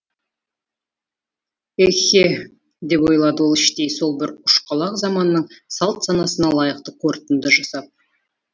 еһе деп ойлады ол іштей сол бір ұшқалақ заманның салт санасына лайықты қорытынды жасап